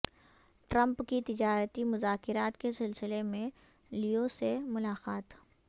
Trump کی تجارتی مذاکرات کے سلسلہ میں لیو سے ملاقات